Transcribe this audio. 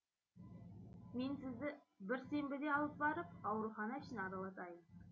мен сізді бір сенбіде алып барып аурухана ішін аралатайын